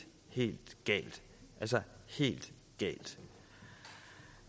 helt galt altså helt galt